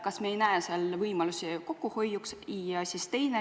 Kas me ei näe seal võimalusi kokkuhoiuks?